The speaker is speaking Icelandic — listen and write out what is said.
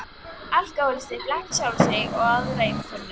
Alkohólistinn blekkir sjálfan sig og aðra í umhverfinu.